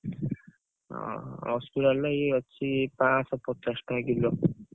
ହଁ ଅସୁରାଲରେ ଏଇ ଅଛି ପାଆଁଶହ ପଚାଶ ଟଙ୍କା କିଲୋ।